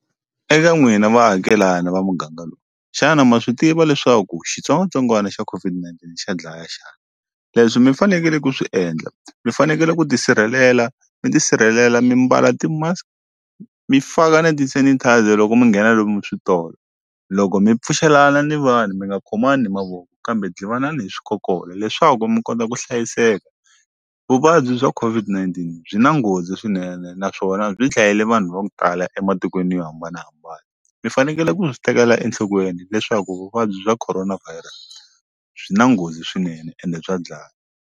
Eka n'wina vaakelani va muganga lowu xana ma swi tiva leswaku xitsongwatsongwana xa COVID-19 xa dlaya xana? Leswi mi fanekele ku swi endla mi fanekele ku tisirhelela mi tisirhelela mi mbala ti-mask mi faka na ti-sanitiser loko mi nghena lomu switolo loko mi pfuxelana ni vanhu mi nga khomani mavoko kambe dlivanani hi swikokolo leswaku mi kota ku hlayiseka vuvabyi bya COVID-19 byi na nghozi swinene naswona byi dlayile vanhu va ku tala ematikweni yo hambanahambana mi fanekele ku swi tekela enhlokweni leswaku vuvabyi bya corona virus byi na nghozi swinene ende bya dlaya.